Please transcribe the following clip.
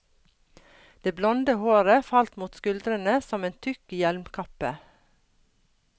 Det blonde håret falt mot skuldrene som en tykk hjelmkappe.